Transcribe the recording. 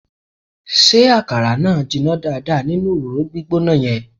Ṣé àkàrà náà jiná dáadáa nínú òróró gbígbóná yẹn?